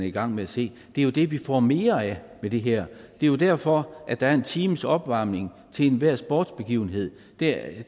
i gang med at se det er jo det vi får mere af med det her det er derfor at der er en times opvarmning til enhver sportsbegivenhed det er